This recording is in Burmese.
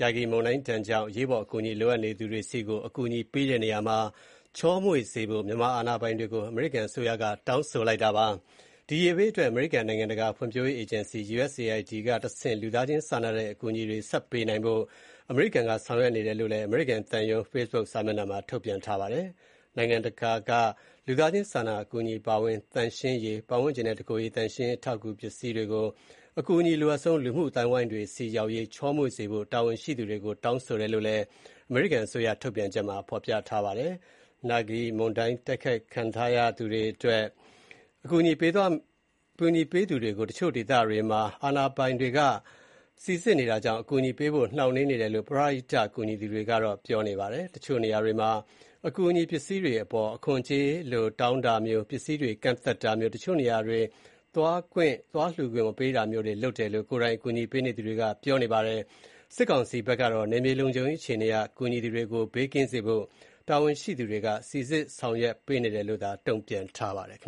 ရာဂီ) မုန်တိုင်းကြောင့် အရေးပေါ် အကူအညီလိုနေသူတွေဆီကို အကူအညီပေးတဲ့နေရာမှာ ချောမွေ့စေဖို့ အာဏာပိုင်တွေကို အမေရိကန်အစိုးရက တောင်းဆိုထားပါတယ်။ အကူအညီလိုနေသူတွေအတွက် အမေရိကန်နိုင်ငံတကာ ဖွံ့ဖြိုးရေးအေဂျင်စီ (USAID) ကတဆင့် လူသားချင်းစာနာတဲ့ အကူအညီတွေ ဆက်လက်ပေးနိုင်ဖို့ အမေရိကန်ပြည်ထောင်စုက ဆောင်ရွက်နေတယ်လို့ အမေရိကန် သံရုံးရဲ့ Facebook စာမျက်နှာမှာထုတ်ပြန်ထားတာပါ။ နိုင်ငံတကာက ပံ့ပိုးကူညီတဲ့ လူသားချင်းစာနာအကူအညီတွေအပါအဝင် သန့်ရှင်းရေ၊ ပတ်ဝန်းကျင်သန့်ရှင်းရေးနဲ့ တကိုယ်ရေသန့်ရှင်းရေး အထောက်အကူ ပစ္စည်းတွေကို အကူအညီအလိုအပ်ဆုံးဖြစ်တဲ့ လူမှု အသိုင်းအဝိုင်းတွေဆီ ပေးပို့တဲ့နေရာမှာ ချောမွေ့မှုရှိစေဖို့ သက်ဆိုင်ရာတာဝန်ရှိသူတွေကို သက်ဆိုင်ရာတာဝန်ရှိသူတွေကို တောင်းဆိုတယ်လို့လည်း အမေရိကန်အစိုးရရဲ့ ထုတ်ပြန်ချက်မှာ ပြောထားပါတယ်။ ရာဂီမုန်တိုင်းဒဏ်ခံထားရသူတွေအတွက် အကူအညီသွားပေးသူတွေကို တချို့ဒေသတွေမှာ အာဏာပိုင်တွေက စိစစ်နေတာကြောင့် အကူအညီပေးဖို့ နှောင့်နှေးနေတယ်လို့ ပရဟိတကူညီသူတွေက ပြောပါတယ်။ တချို့နေရာတွေမှာ အကူအညီပစ္စည်းတွေအပေါ် အခွန်ကြေးလို တောင်းတာမျိုး၊ ပစ္စည်းတွေ ကန့်သတ်တာမျိုး၊ တချို့နေရာတွေ သွားလှူခွင့်မပေးတာမျိုးတွေလုပ်တယ်လို့ ကိုယ်တိုင်အကူအညီပေးသူတွေက ပြောကြပါတယ်။ စစ်ကောင်စီဘက်ကတော့ နယ်မြေလုံခြုံရေးအခြေအနေအရ ကူညီသူတွေ ဘေးကင်းစေဖို့ တာဝန်ရှိသူတွေက စိစစ်ဆောင်ရွက်ပေးနေတယ်လို့ တုံ့ပြန်ထားပါတယ်